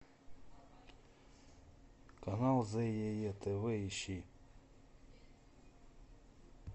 канал зее тв ищи